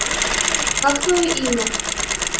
как твоё имя